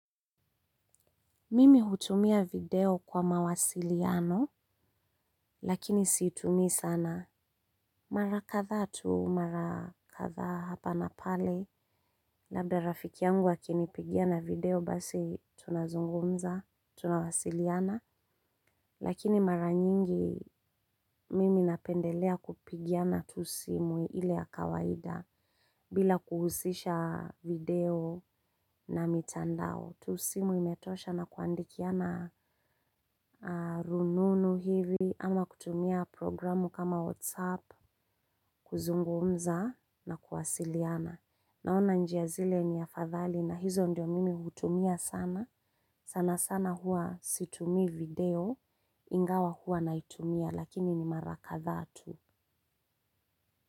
Mimi hutumia video kwa mawasiliano, lakini siitumii sana. Mara kadhaa tu mara kadhaa hapa na pale, labda rafiki yangu akinipigia na video basi tunazungumza, tunawasiliana, lakini mara nyingi mimi napendelea kupigiana tu simu ile ya kawaida, bila kuhusisha video na mitandao. Tusimu imetosha na kuandikiana rununu hivi. Ama kutumia programu kama whatsapp kuzungumza na kuwasiliana naona njia zile ni afadhali na hizo ndio mimi hutumia sana. Sana sana huwa situmii video. Ingawa huwa naitumia lakini ni mara kadhaa tu.